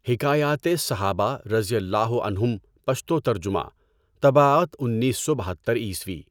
حکایاتِ صحابہ رضی اللہ عنہم پشتو ترجمہ، طباعت انیس سو بہتّر عیسوی